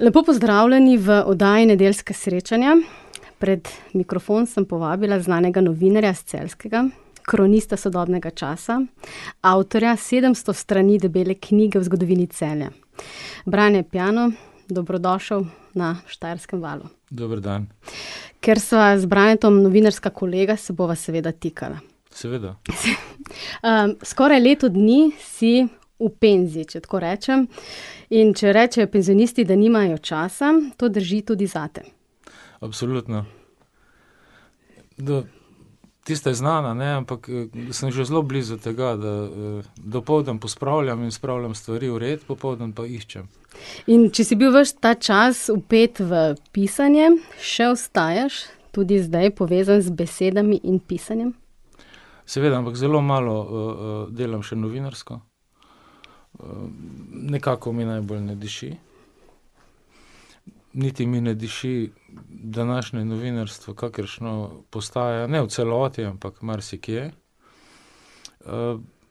Lepo pozdravljeni v oddaji Nedeljska srečanja. Pred mikrofon sem povabila znanega novinarja s Celjskega, kronista sodobnega časa, avtorja sedemsto strani debele knjige o zgodovini Celja. Brane Piano, dobrodošel na Štajerskem valu. Dober dan. Ker sva z Branetom novinarska kolega, se bova seveda tikala. Seveda. skoraj leto dni si v penziji, če tako rečem, in če rečejo penzionisti, da nimajo časa, to drži tudi zate. Absolutno. ... Tista je znana, ne, ampak sem že zelo blizu tega, da, dopoldan pospravljam in spravljam stvari v red, popoldan pa iščem. In če si bil ves ta čas vpet v pisanje, še ostajaš tudi zdaj povezan z besedami in pisanjem? Seveda, ampak zelo malo, delam še novinarsko. nekako mi najbolj ne diši. Niti mi ne diši današnje novinarstvo, kakršno postaja, ne v celoti, ampak marsikje.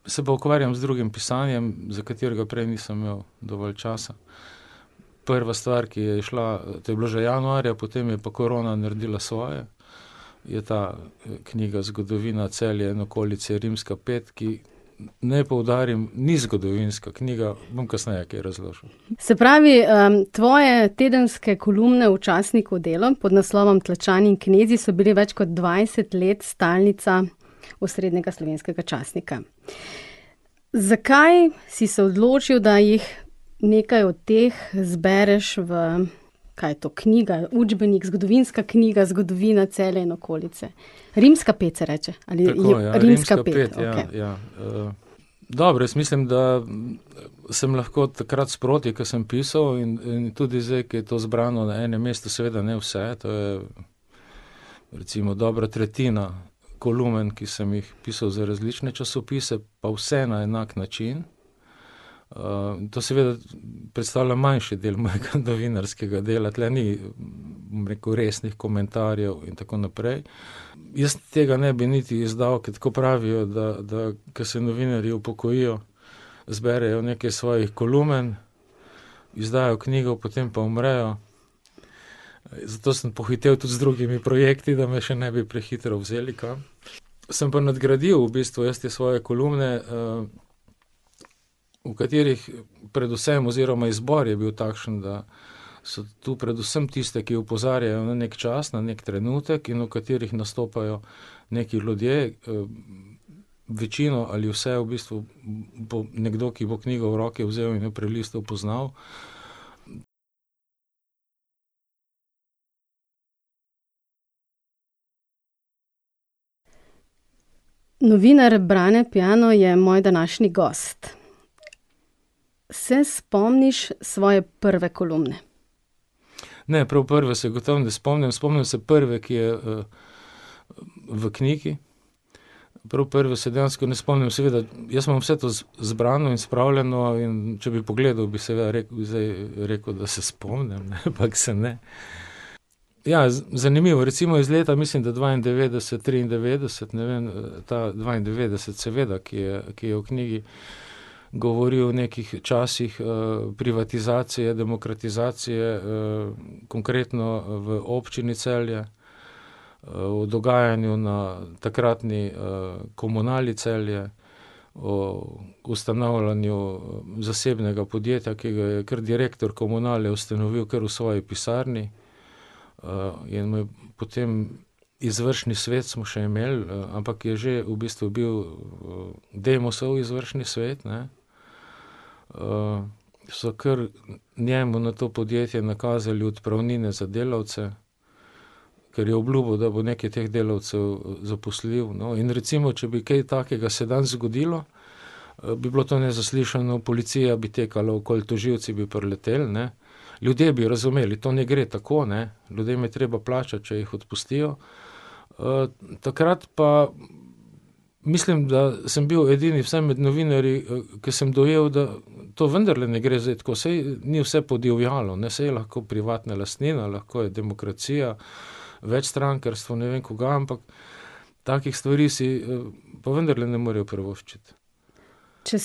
se pa ukvarjam z drugim pisanjem, za katerega prej nisem imel dovolj časa. Prva stvar, ki je izšla, to je bilo že januarja, potem je pa korona naredila svoje, je ta, knjiga Zgodovina Celja in okolice rimska pet, ki, naj poudarim, ni zgodovinska knjiga, bom kasneje kaj razložil. Se pravi, tvoje tedenske kolumne v časniku Delo pod naslovom Tlačani in knezi, so bile več kot dvajset let stalnica osrednjega slovenskega časnika. Zakaj si se odločil, da jih nekaj od teh izbereš v, kaj je to, knjiga, učbenik, zgodovinska knjiga, zgodovina Celja in okolice. Rimska pet se reče? Ali je rimska pet? Tako ja, rimska pet, ja, ja, Dobro, jaz mislim, da sem lahko takrat sproti, ko sem pisal in, in tudi zdaj, ko je to zbrano na enem mestu, seveda ne vse, to je recimo dobra tretjina kolumen, ki sem jih pisal za različne časopise pa vse na enak način. to seveda predstavlja manjši del mojega novinarskega dela, tule ni, bom rekel, resnih komentarjev in tako naprej. Jaz tega ne bi niti izdal, ker tako pravijo, da, da ko se novinarji upokojijo, zberejo nekaj svojih kolumen. izdajo knjigo, potem pa umrejo. Zato sem pohitel tudi z drugimi projekti, da me še ne bi prehitro vzeli kam. Sem pa nadgradil v bistvu jaz te svoje kolumne, v katerih predvsem, oziroma izbor je bil takšen, da so tu predvsem tiste, ki opozarjajo na neki čas, na neki trenutek in v katerih nastopajo neki ljudje, večina ali vse v bistvu bo nekdo, ki bo knjigo v roke vzel in jo prelistal, poznal. Novinar Brane Piano je moj današnji gost. Se spomniš svoje prve kolumne? Ne, prav prve se gotovo ne spomnim, spomnim se prve, ki je, v knjigi. Prav prve se dejansko ne spomnim, seveda jaz imam vse to zbrano in spravljeno, in če bi pogledal, bi seveda rekel, zdaj, rekel, da se spomnim, ne, ampak se ne. Ja, zanimivo, recimo iz leta, mislim, da dvaindevetdeset, triindevetdeset, ne vem, ta dvaindevetdeset seveda, ki je, ki je v knjigi, govori o nekih časih, privatizacije, demokratizacije, konkretno v Občini Celje, o dogajanju na takratni, Komunali Celje, o ustanavljanju zasebnega podjetja, ki ga je kar direktor komunale ustanovil kar v svoji pisarni. in mu je potem, izvršni svet smo še imeli, ampak je že v bistvu bil, Demosov izvršni svet, ne. so kar njemu na to podjetje nakazali odpravnine za delavce, ker je obljubil, da bo nekaj teh delavcev zaposlil. No, in recimo, če bi kaj takega se danes zgodilo, bi bilo to nezaslišano, policija bi tekala okoli, tožilci bi prileteli, ne, ljudje bi razumeli, to ne gre tako, ne, ljudem je treba plačati, če jih odpustijo. takrat pa mislim, da sem bil edini, vsaj med novinarji, ki sem dojel, da to vendarle ne gre zdaj tako, saj ni vse podivjalo, ne, saj je lahko privatna lastnina, lahko je demokracija, večstrankarstvo, ne vem kaj, ampak takih stvari si, pa vendarle ne morejo privoščiti. Če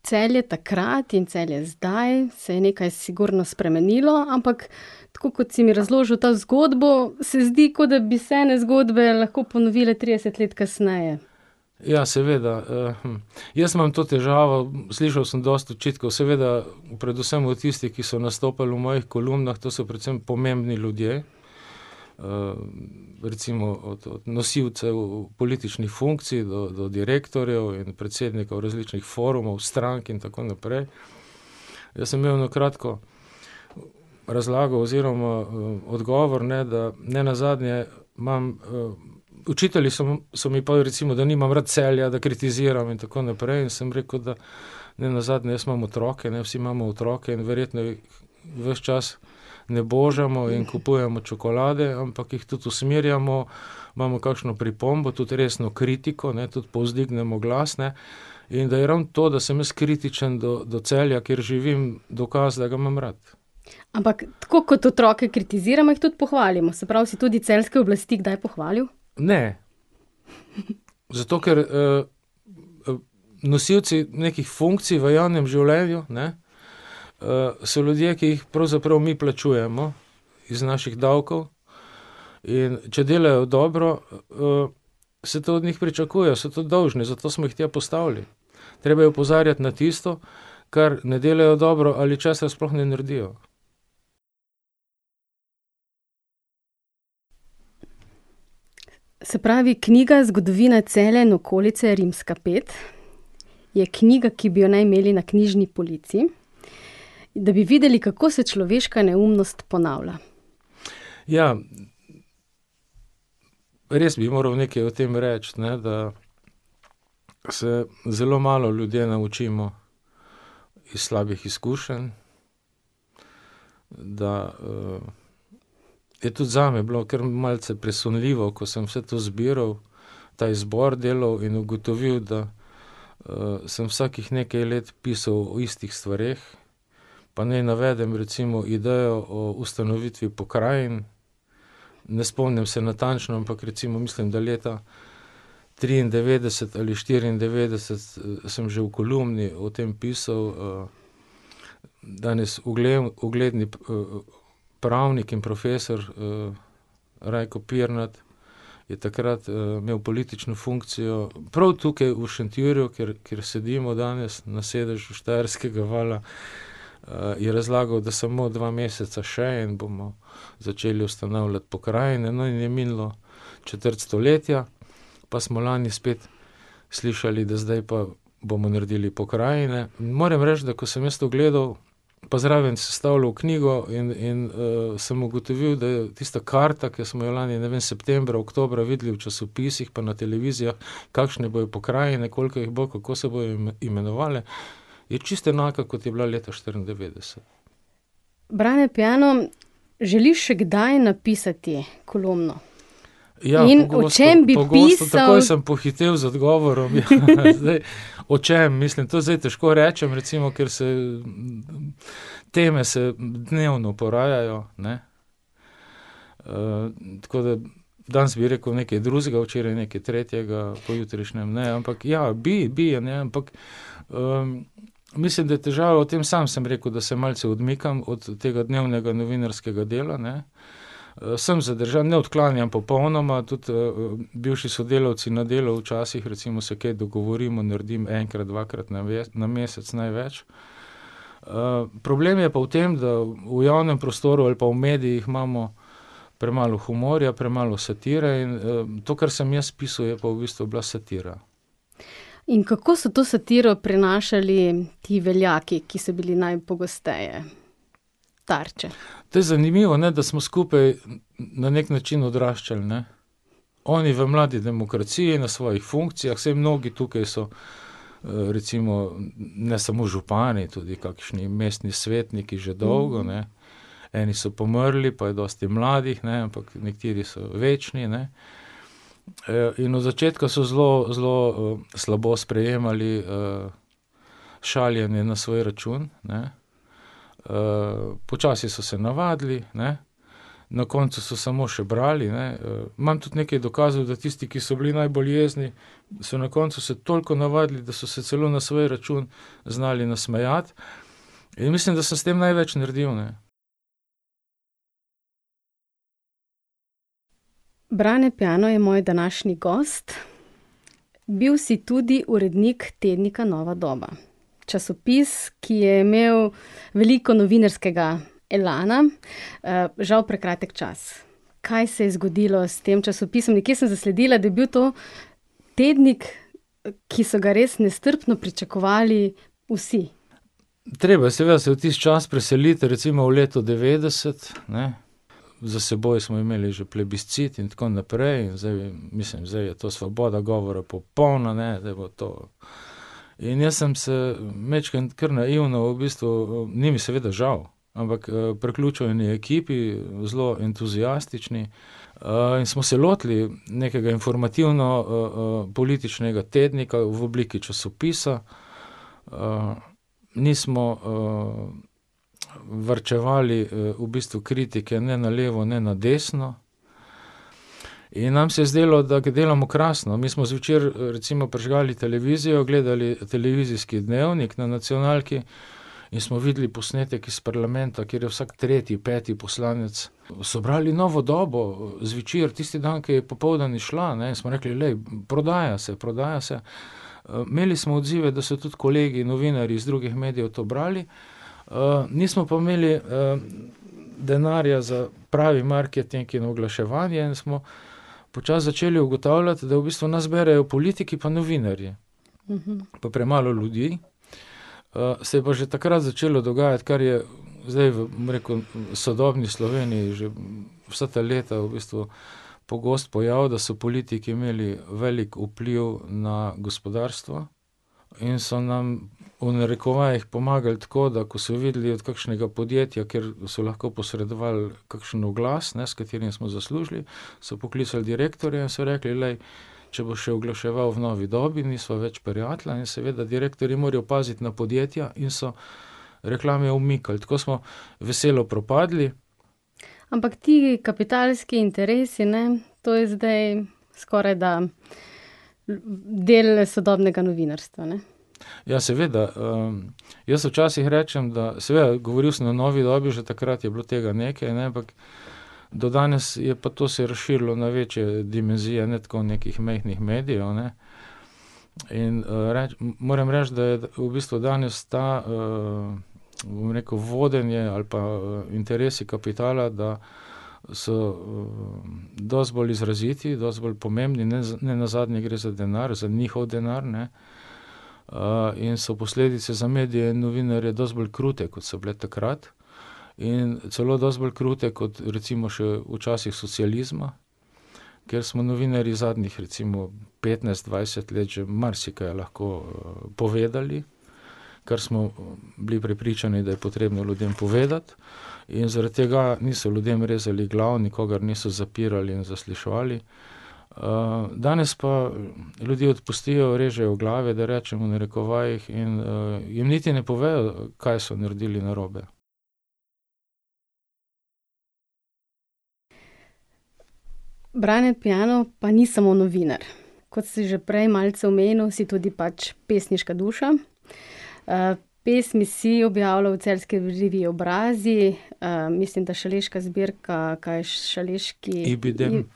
spremljaš Celje takrat in Celje zdaj, se je nekaj sigurno spremenilo, ampak tako, kot si mi razložil to zgodbo, se zdi, kot da bi se ene zgodbe lahko ponovile trideset let kasneje. Ja seveda, jaz imam to težavo, slišal sem dosti očitkov, seveda predvsem od tistih, ki so nastopali v mojih kolumnah, to so predvsem pomembni ljudje. recimo od, od nosilcev političnih funkcij do, do direktorjev in predsednikov različnih forumov, strank in tako naprej. Jaz sem imel eno kratko razlago oziroma, odgovor, ne, da nenazadnje imam, očitali so so mi pol, da nimam rad Celja, da kritiziram in tako naprej, in sem rekel, da nenazadnje jaz imam otroke, ne, vsi imamo otroke in verjetno jih ves čas ne božamo in kupujemo čokolade, ampak jih tudi usmerjamo, imamo kakšno pripombo, tudi resno kritiko, ne, tudi povzdignemo glas, ne. In da je ravno to, da sem jaz kritičen do, do Celja, kjer živim, dokaz, da ga imam rad. Ampak tako kot otroke kritiziramo, jih tudi pohvalimo, se pravi, si tudi celjske oblasti kdaj pohvalil? Ne. Zato ker, nosilci nekih funkcij v javnem življenju, ne, so ljudje, ki jih pravzaprav mi plačujemo iz naših davkov. In če delajo dobro, se to od njih pričakuje, so to dolžni, zato smo jih tja postavili. Treba je opozarjati na tisto, kar ne delajo dobro ali česar sploh ne naredijo. Se pravi, knjiga Zgodovina Celja in okolice rimska pet, je knjiga, ki bi jo naj imeli na knjižni polici, da bi videli, kako se človeška neumnost ponavlja. Ja. Res bi moral nekaj o tem reči, ne, da se zelo malo ljudje naučimo iz slabih izkušenj. Da, ... Je tudi zame bilo kar malce presunljivo, ko sem vse to zbiral, ta izbor delal in ugotovil, da, sem vsakih nekaj let pisal o istih stvareh. Pa naj navedem recimo idejo o ustanovitvi pokrajin, ne spomnim se natančno, ampak recimo, mislim, da leta triindevetdeset ali štiriindevetdeset, sem že v kolumni o tem pisal, danes ugledni pravnik in profesor, Rajko Pirnat, je takrat imel politično funkcijo prav tukaj v Šentjurju, kjer sedimo danes, na sedežu Štajerskega vala, je razlagal, da samo dva meseca še in bomo začeli ustanavljati pokrajine, no, in je minilo četrt stoletja pa smo lani spet slišali, da zdaj pa bomo naredili pokrajine. Moram reči, da ko sem jaz to gledal pa zraven sestavljal knjigo in, in, sem ugotovil, da tista karta, ki smo jo lani, ne vem, septembra, oktobra videli v časopisih pa na televizijah, kakšne bojo pokrajine, koliko jih bo, kako se bojo imenovale, je čisto enaka, kot je bila leta štiriindevetdeset. Brane Piano, želiš še kdaj napisati kolumno? Ja, pogosto, pogosto. In o čem bi pisal? Takoj sem pohitel z odgovorom, , zdaj ... O čem, mislim, to je zdaj težko rečem, recimo, ker se, teme se dnevno porajajo, ne. tako da, danes bi rekel nekaj drugega, včeraj nekaj tretjega, pojutrišnjem, ne, ampak, ja, bi bi, a ne, ampak, mislim, da je težava v tem, sam sem rekel, da se malce odmikam od tega dnevnega novinarskega dela, ne, sem zadržan, ne odklanjam popolnoma, tudi, bivši sodelavci na Delu včasih, recimo, se kaj dogovorimo, naredim enkrat, dvakrat na na na mesec največ. problem je pa v tem, da v javnem prostoru ali pa v medijih imamo premalo humorja, premalo satire in, to, kar sem jaz pisal, je pa v bistvu bila satira. In kako so to satiro prenašali ti veljaki, ki so bili najpogosteje tarče? To je zanimivo, ne, da smo skupaj na neki način odraščali, ne. Oni v mladi demokraciji, na svojih funkcijah, saj mnogi tukaj so, recimo ne samo župani, tudi kakšni mestni svetniki že dolgo, ne, eni so pomrli pa je dosti mladih, ne, ampak, nekateri so večni, ne. in od začetka so zelo, zelo, slabo sprejemali, šaljenje na svoj račun, ne, počasi so se navadili, ne, na koncu so samo še brali, ne, imam tudi nekaj dokazov, da tisti, ki so bili najbolj jezni, so na koncu se toliko navadili, da so se celo na svoj račun znali nasmejati, in mislim, da sem s tem največ naredil, ne. Brane Piano je moj današnji gost. Bil si tudi urednik tednika Nova doba. Časopis, ki je imel veliko novinarskega elana, žal prekratek čas. Kaj se je zgodilo s tem časopisom? Nekje sem zasledila, da je bil to tednik, ki so ga res nestrpno pričakovali vsi. Treba je seveda se v tisti čas preseliti, recimo v leto devetdeset, ne, za seboj smo imeli že plebiscit in tako naprej, in zdaj, mislim, zdaj je to svoboda govora popolna, ne, zdaj bo to ... In jaz sem se majčkeno kar naivno v bistvu, ni mi seveda žal, ampak, priključil eni ekipi, zelo entuziastični, in smo se lotili nekega informativno, političnega tednika v obliki časopisa. nismo, varčevali, v bistvu kritike ne na levo ne na desno. In nam se je zdelo, da delamo krasno, mi smo zvečer, recimo prižgali televizijo, gledali televizijski dnevnik na nacionalki in smo videli posnetek iz parlamenta, kjer je vsak tretji, peti poslanec so bral Novo dobo, zvečer, tisti dan, ko je popoldan izšla, ne, smo rekli: "Glej, prodaja se, prodaja se." imeli smo odzive, da so tudi kolegi, novinarji z drugih medijev to brali, nismo pa imeli, denarja za pravi marketing in oglaševanje in smo počasi začeli ugotavljati, da v bistvu nas berejo politiki pa novinarji. Pa premalo ljudi. se je pa že takrat začelo dogajati, kar je zdaj v, bom rekel, sodobni Sloveniji že vsa ta leta v bistvu pogost pojav, da so politiki imeli velik vpliv na gospodarstvo in so nam v narekovajih pomagali tako, da ko so videli od kakšnega podjetja, kjer so lahko posredovali kakšen oglas, ne, s katerim smo zaslužili, so poklicali direktorja in so rekli: "Glej, če boš še oglaševal v Novi dobi, nisva več prijatelja in seveda direktorji morajo paziti na podjetja in so reklame umikali, tako smo veselo propadli." Ampak ti kapitalski interesi, ne, to je zdaj skorajda del sodobnega novinarstva, ne. Ja, seveda, Jaz včasih rečem, da, seveda, govoril sem v Novi dobi že takrat je bilo tega nekaj, ne, ampak do danes je pa to se razširilo na večje dimenzije, ne tako nekih majhnih medijev, ne. In, moram reči, da v bistvu danes ta, bom rekel, vodenje ali pa interesi kapitala, da so, dosti bolj izraziti, dosti bolj pomembni, nenazadnje gre za denar, njihov denar, ne, in so posledice za medije in novinarje dosti bolj krute, kot so bile takrat, in celo dosti bolj krute kot recimo še v časih socializma. Ker smo novinarji zadnjih recimo petnajst, dvajset let že marsikaj lahko, povedali, kar smo bili prepričani, da je potrebno ljudem povedati, in zaradi tega niso ljudem rezali glav, nikogar niso zapirali in zasliševali. danes pa ljudi odpustijo, režejo glave, da rečem v narekovajih, in, jim niti ne povejo, kaj so naredili narobe. Brane Piano pa ni samo novinar. Kot ste že prej malce omenil, si tudi pač pesniška duša. pesmi si objavljal v celjski reviji Obrazi, mislim, da Šaleška zbirka, kaj je, Šaleški ... Ibidem.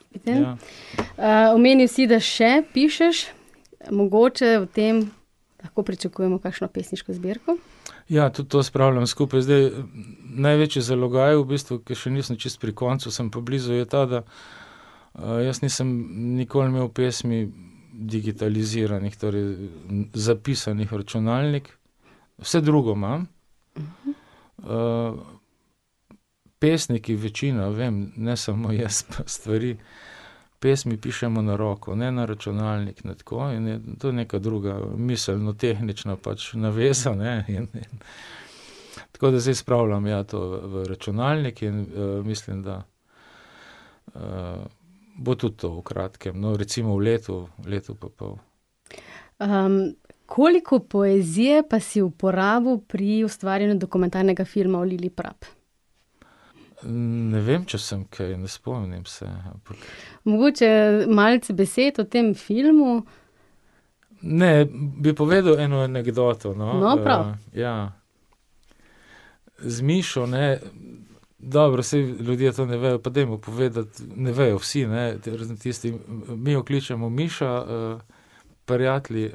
omenil si, da še pišeš, mogoče v tem lahko pričakujemo kakšno pesniško zbirko? Ja, tudi to spravljam skupaj, zdaj največji zalogaj v bistvu, ki še nisem čisto pri koncu, sem pa blizu, je ta, da, jaz nisem nikoli imel pesmi digitaliziranih, torej, zapisanih v računalnik, vse drugo imam, ... Pesniki večina, vem, ne samo jaz, stvari, pesmi pišemo na roko, ne na računalnik, ne tako in je to neka druga miselno-tehnična pač naveza, ne, in ... Tako da zdaj spravljam, ja, to v računalnik in, mislim, da, bo tudi to v kratkem, no, recimo v letu, letu pa pol. koliko poezije pa si uporabil pri ustvarjanju dokumentarnega filma o Lili Prap? Ne vem, če sem kaj, ne spomnim se, ampak ... Mogoče malce besed o tem filmu. Ne, bi povedal eno anekdoto, no. No prav. Ja ... Z Mišo, ne, dobro, saj, ljudje to ne vejo, pa dajmo povedati, ne vejo vsi, ne, razen tistih, mi jo kličemo Miša, prijatelji,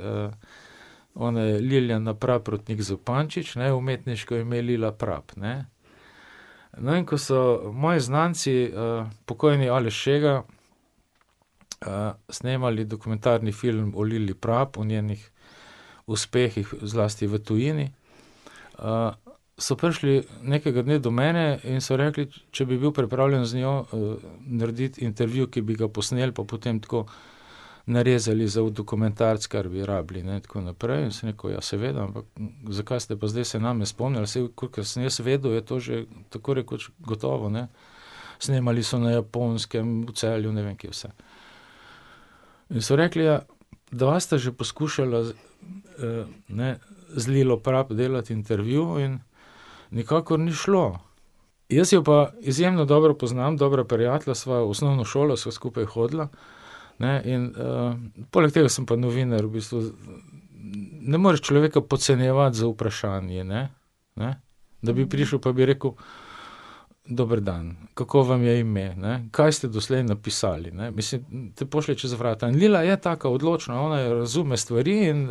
Ona je Liljana Praprotnik Zupančič, ne, umetniško ime Lila Prap, ne. No, in ko so moji znanci, pokojni [ime in priimek] , snemali dokumentarni film o Lili Prap, o njenih uspehih, zlasti v tujini, so prišli nekega dne do mene in so rekli, če bi bil pripravljen z njo, narediti intervju, ki bi ga posnel pa potem tako narezali za v dokumentarec, kar bi rabili, ne, in tako naprej in sem rekel: "Ja, seveda, ampak zakaj ste pa zdaj se name spomnili, saj kolikor sem jaz vedel, je to že tako rekoč gotovo, ne?" Snemali so na Japonskem, v Celju, ne vem, kje vse. In so rekli: "Ja, dva sta že poskušala ne, z Lilo Prap delati intervju in nikakor ni šlo." Jaz jo pa izjemno dobro poznam, dobra prijatelja sva, v osnovno šolo sva skupaj hodila, ne, in, poleg tega sem pa novinar v bistvu, ne moreš človeka podcenjevati z vprašanji, ne, ne. Da bi prišel pa bi rekel: "Dober dan, kako vam je ime, ne, kaj ste doslej napisali?" Ne, mislim, te pošlje čez vrata. In Lila je taka odločna, ona razume stvari in,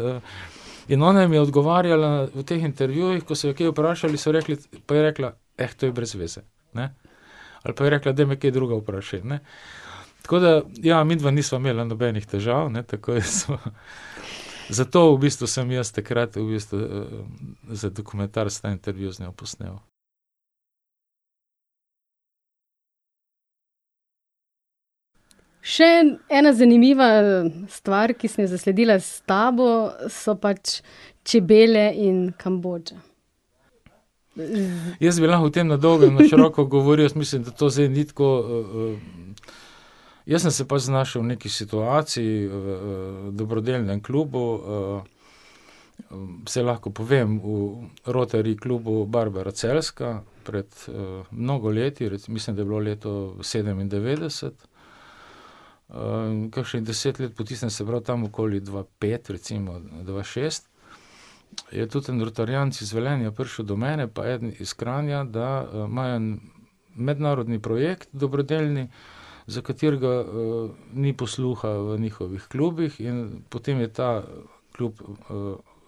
in ona jim je odgovarjala v teh intervjujih, ko so jo kaj vprašali, so rekli: "Pa je rekla: to je brezveze, ne."" Ali pa je rekla: "Daj me kaj drugega vprašaj, ne." Tako da, ja, midva nisva imela nobenih težav, ne, takoj smo ... Zato v bistvu sem jaz takrat v bistvu, za dokumentarec ta intervju z njo posnel. Še ena zanimiva stvar, ki sem jo zasledila s tabo, so pač čebele in Kambodža. Jaz bi lahko o tem na dolgo in na široko govoril, jaz mislim, da to zdaj ni tako, ... Jaz sem se pač znašel v neki situaciji, dobrodelnem klubu, saj lahko povem, v Rotary klubu Barbara Celjska pred, mnogo leti, mislim, da je bilo leto sedemindevetdeset. kakšnih deset let po tistem, se pravi, tam okoli dva pet, recimo, ne, dva šest, je tudi en rotaryjanec iz Velenja prišel do mene pa eden iz Kranja, da, imajo en mednarodni projekt dobrodelni, za katerega, ni posluha v njihovih klubih, in potem je ta klub,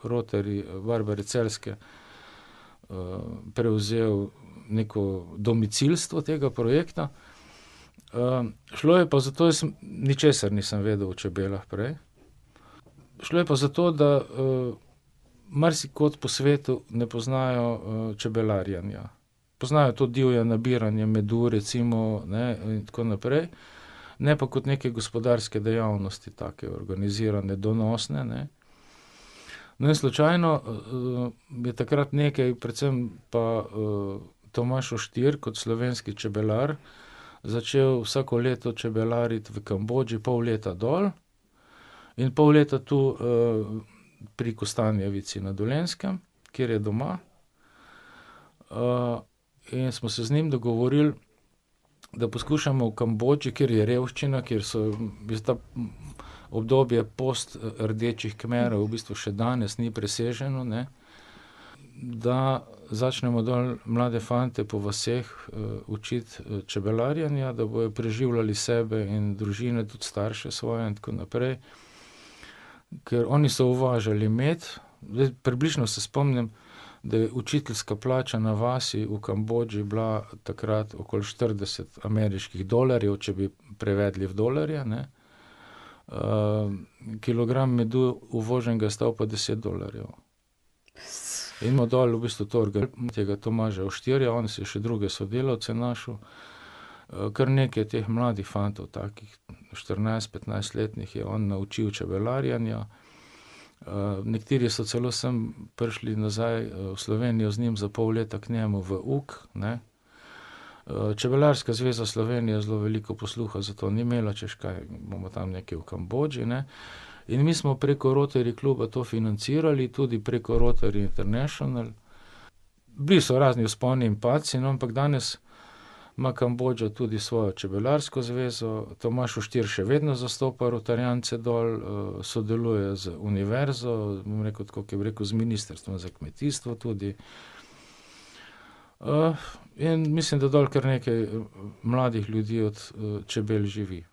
Rotary Barbare Celjske, prevzel neko domicilstvo tega projekta. šlo je pa za to, jaz sem, ničesar nisem vedel o čebelah prej, šlo je pa za to, da, marsikod po svetu ne poznajo, čebelarjenja. Poznajo to divje nabiranje medu, recimo, ne, in tako naprej, ne pa kot neke gospodarske dejavnosti, take urbanizirane, donosne, ne. No, in slučajno, je takrat nekaj, predvsem pa, [ime in priimek] kot slovenski čebelar začel vsako leto čebelariti v Kambodži pol leta dol in pol leta tu, pri Kostanjevici na Dolenjskem, kjer je doma. in smo se z njim dogovorili, da poskušamo v Kambodži, kjer je revščina, kjer so obdobja post Rdečih Kmerov, v bistvu še danes ni preseženo, ne, da začnemo dol mlade fante po vaseh, učiti čebelarjenja, da bojo preživljali sebe in družine, tudi starše svoje in tako naprej. Ker oni so uvažali med, zdaj približno se spomnim, da je učiteljska plača na vasi v Kambodži bila takrat okoli štirideset ameriških dolarjev, če bi prevedli v dolarje, ne, kilogram medu uvoženega je stal pa deset dolarjev. In ima dol v bistvu to tega [ime in priimek] , on si je še druge sodelavce našel, kar nekaj teh fantov mladih, takih štirinajst-, petnajstletnih je on naučil čebelarjenja. nekateri so celo sem prišli nazaj v Slovenijo z njim za pol leta k njemu v uk, ne. Čebelarska zveza Slovenije zelo veliko posluha za to ni imela, hočeš, kaj bomo tam nekaj v Kambodži, ne. In mi smo preko Rotary kluba to financirali, tudi preko Rotary International. Bili so razni vzponi in padci, no, ampak danes ima Kambodža tudi svojo čebelarsko zvezo, [ime in priimek] še vedno zastopa rotaryjance dol, sodeluje z univerzo, bom rekel, tako kot bi rekel z ministrstvom za kmetijstvo tudi. in mislim, da dol kar nekaj mladih ljudi od, čebel živi.